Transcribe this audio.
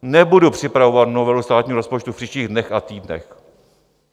Nebudu připravovat novelu státního rozpočtu v příštích dnech a týdnech.